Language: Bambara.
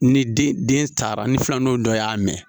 Ni den taara ni filan denw dɔ y'a mɛn.